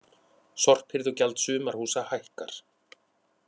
Sorphirðugjald sumarhúsa hækkar